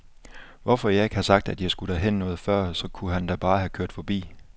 Hvorfor jeg ikke har sagt, at jeg skulle derhen noget før, så kunne han da bare have kørt forbi.